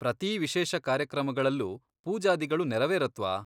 ಪ್ರತೀ ವಿಶೇಷ ಕಾರ್ಯಕ್ರಮಗಳಲ್ಲೂ ಪೂಜಾದಿಗಳು ನೆರವೇರತ್ವಾ?